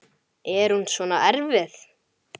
Þannig kann að fara.